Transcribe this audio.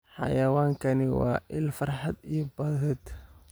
Xayawaankani waa il farxad iyo badhaadhe.